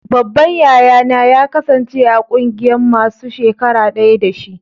Babban yaya na ya kasance a ƙungiyan masun shakara daya da shi.